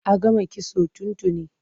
A gama kitson tun tuni.